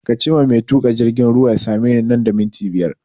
Kace ma mai tuƙa jirgin ruwa ya same ni nan da minti biyar!